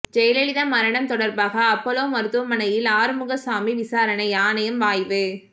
ஜெயலலிதா மரணம் தொடர்பாக அப்போலோ மருத்துவமனையில் ஆறுமுகசாமி விசாரணை ஆணையம் ஆய்வு